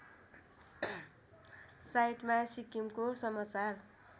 साइटमा सिक्किमको समाचार